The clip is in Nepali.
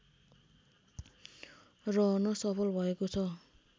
रहन सफल भएको छ